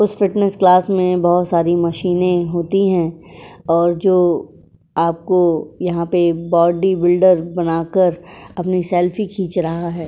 उस fitness class में बहोत सारी मशीनें होती हैं और जो आपको यहाँ पे बॉडी बिल्डर बनाकर अपनी सेल्फी खींच रहा है।